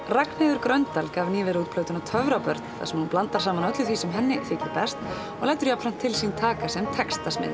Ragnheiður Gröndal gaf nýverið út plötuna þar sem hún blandar saman öllu því sem henni þykir best og lætur jafnframt til sín taka sem textasmiður